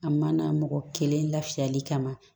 A ma na mɔgɔ kelen lafiyali kama